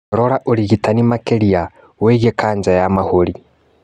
Rora ũrigitani makĩria wĩgiĩ kanja ya mahũri